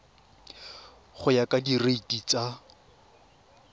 go ya ka direiti tsa